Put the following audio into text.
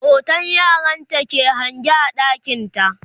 hoton yaranta ke liƙe a ɗakinta